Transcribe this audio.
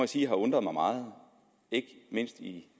sige har undret mig meget ikke mindst